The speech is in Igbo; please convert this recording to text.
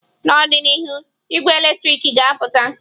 N'ọdịnihu, ị́gwẹ́ eletrik ga-apụta.